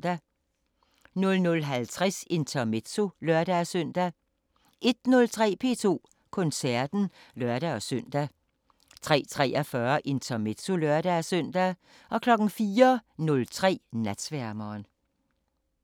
00:50: Intermezzo (lør-søn) 01:03: P2 Koncerten (lør-søn) 03:43: Intermezzo (lør-søn) 04:03: Natsværmeren